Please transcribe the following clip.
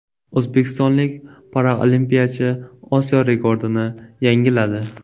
O‘zbekistonlik paralimpiyachi Osiyo rekordini yangiladi.